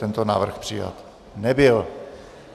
Tento návrh přijat nebyl.